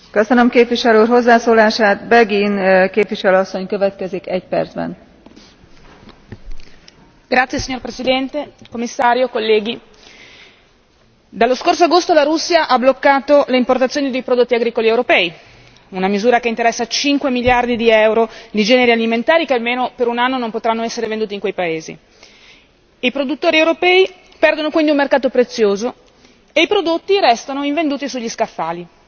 Signora Presidente, onorevoli colleghi, Commissario, dallo scorso agosto la Russia ha bloccato l'importazione dei prodotti agricoli europei, una misura che interessa cinque miliardi di euro di generi alimentari che almeno per un anno non potranno essere venduti in quei paesi. I produttori europei perdono quindi un mercato prezioso e i prodotti restano invenduti sugli scaffali.